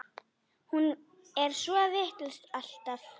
Hún er svo vitlaus alltaf.